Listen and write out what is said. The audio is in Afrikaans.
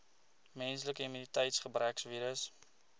menslike immuniteitsgebrekvirus